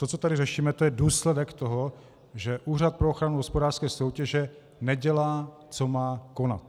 To, co tady řešíme, to je důsledek toho, že Úřad pro ochranu hospodářské soutěže nedělá, co má konat.